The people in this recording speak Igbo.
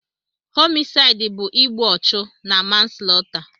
Homisaịd bụ igbu ọchụ na manslọta.